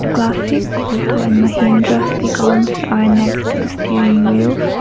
classica photo and mahindra sticons are next to the steering wheels.